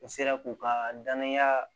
N sera k'u ka danaya